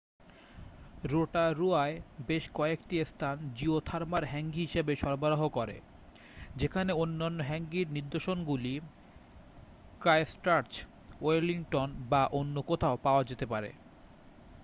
রোটারুয়ায় বেশ কয়েকটি স্থান জিওথার্মাল হ্যাঙ্গি হিসাবে সরবরাহ করে যেখানে অন্যান্য হ্যাঙ্গির নির্দশনগুলি ক্রাইস্টচার্চ ওয়েলিংটন বা অন্য কোথাও পাওয়া যেতে পারে